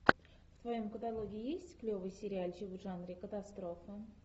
в твоем каталоге есть клевый сериальчик в жанре катастрофа